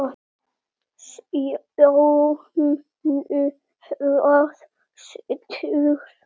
Sjáum nú hvað setur.